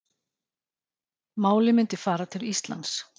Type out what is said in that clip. Málið myndi fara til Íslands